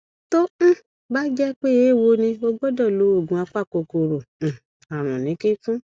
tó um bá jẹ pé eéwo ni ó gbọdọ lo oògùn apakòkòrò um àrùn ní kíkún